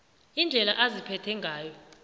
indlela aziphethe ngayo